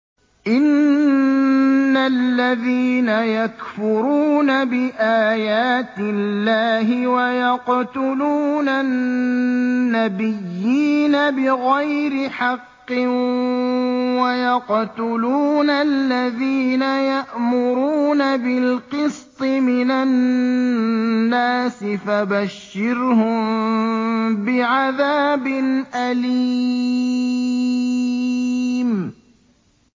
إِنَّ الَّذِينَ يَكْفُرُونَ بِآيَاتِ اللَّهِ وَيَقْتُلُونَ النَّبِيِّينَ بِغَيْرِ حَقٍّ وَيَقْتُلُونَ الَّذِينَ يَأْمُرُونَ بِالْقِسْطِ مِنَ النَّاسِ فَبَشِّرْهُم بِعَذَابٍ أَلِيمٍ